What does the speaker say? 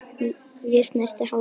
Ég snerti hárið hennar.